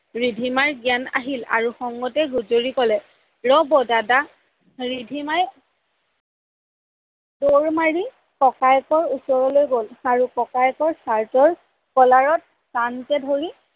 ৰিধিমাৰ জ্ঞান আহিল আৰু খংতে গুজৰি ক'লে ৰ'ব দাদা, ৰিধিমাই দৌৰ মাৰি ককায়েকৰ ওচৰলৈ গল আৰু ককায়েকৰ চাৰ্টৰ কলাৰত টানকৈ ধৰি